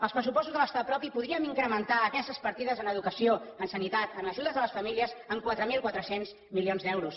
als pressupostos de l’estat propi podríem incrementar aquestes partides en educació en sanitat en ajudes a les famílies en quatre mil quatre cents milions d’euros